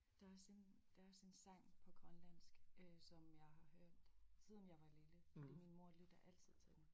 Der er også en der er også en sang på grønlandsk øh som jeg har hørt siden jeg var lille fordi min mor lytter altid til den